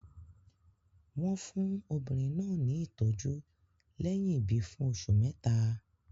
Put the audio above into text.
Wọ́n fún obìnrin náà ní ìtọ́jú lẹ́yìn ìbí fún oṣù mẹ́ta.